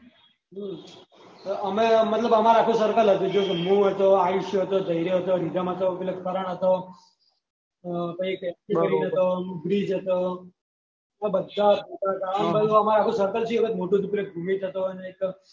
આમે એટલે મતલબ અમારું આખું circle હતું જેમ કે નુંર હતું અયુશીયો હતો ધેર્ય હતો રીધમ હતી પેલો કરણ હતી અહ પછી એક બ્રીજ હતો આ બધાજ અમારી બાજુ અમારું આખું circle થી આવું મોટું